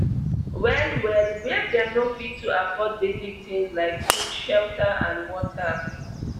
well well wia dem no fit to afford basic tins like food shelter and water